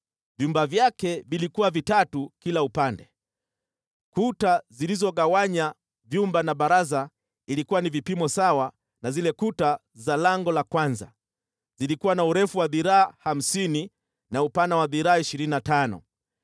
Vyumba vyake vilikuwa vitatu kila upande, kuta zilizogawanya vyumba na baraza ilikuwa na vipimo sawa na zile kuta za lango la kwanza. Zilikuwa na urefu wa dhiraa hamsini na upana wa dhiraa ishirini na tano.